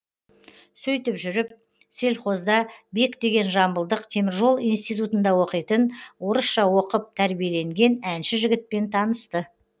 сөйтіп жүріп сельхозда бек деген жамбылдық теміржол институтында оқитын орысша оқып тәрбиеленген әнші жігітпен танысты